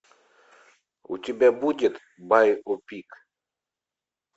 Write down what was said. у тебя будет байопик